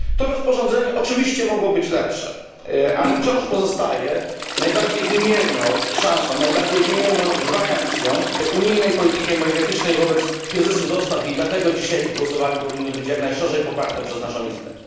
To rozporządzenie oczywiście mogło być lepsze, ale wciąż pozostaje najbardziej wymierną szansą, najbardziej wymierną gwarancją unijnej polityki energetycznej wobec kryzysu dostaw i dlatego dzisiaj w głosowaniu powinno być jak najszerzej poparte przez naszą Izbę.